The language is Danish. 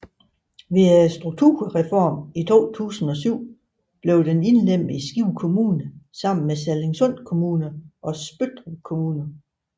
Ved strukturreformen i 2007 blev den indlemmet i Skive Kommune sammen med Sallingsund Kommune og Spøttrup Kommune